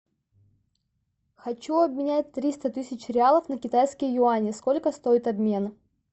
хочу обменять триста тысяч реалов на китайские юани сколько стоит обмен